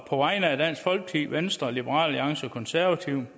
på vegne af dansk folkeparti venstre liberal alliance og konservative